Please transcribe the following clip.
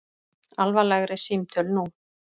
Alvarlegri símtöl nú